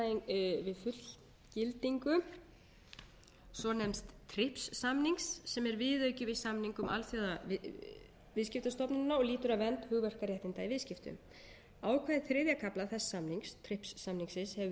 í tengslum við fullgildingu svonefnds svonefnds trips samnings sem er viðauki við samning um alþjóðaviðskiptastofnunina og lýtur að vernd hugverkaréttinda í viðskiptum ákvæði þriðja kafla þess samnings trips samningsins hafa verið lögfest hér á